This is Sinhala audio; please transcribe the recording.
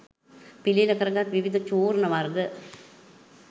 පිළියෙල කරගත් විවිධ චූර්ණ වර්ග